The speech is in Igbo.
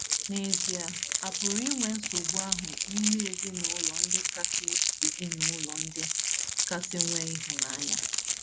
N’ezie, a pụrụ inwe nsogbu ahụ n’ime ezinụlọ ndị kasị ezinụlọ ndị kasị nwee ịhụnanya.